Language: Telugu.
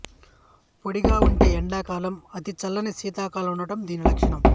పొడిగా ఉండే ఎండాకాలం అతిచల్లని శీతాకాలం ఉండటం దీని లక్షణం